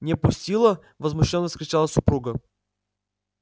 не пустила возмущённо вскричала супруга